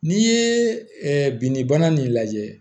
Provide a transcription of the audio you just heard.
N'i ye binnibana nin lajɛ